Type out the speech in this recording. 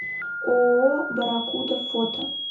ооо барракуда фото